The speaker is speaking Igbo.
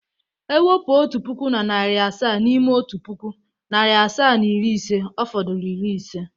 E wepu otu puku na na narị asaa n’ime otu puku, narị asaa na iri ise, ọ fodụrụ iri ise.